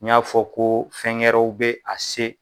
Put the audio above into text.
N y'a fɔ ko fɛnkɛ wɛrɛw bɛ a se.